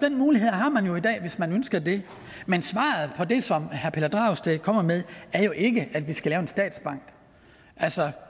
den mulighed har man jo i dag hvis man ønsker det men svaret på det som herre pelle dragsted kommer med er jo ikke at vi skal lave en statsbank